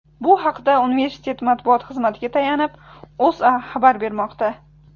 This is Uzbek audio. Bu haqda universitet matbuot xizmatiga tayanib, O‘zA xabar bermoqda .